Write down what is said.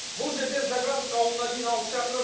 бұл жерден заградовка ауылына дейін алты шақырым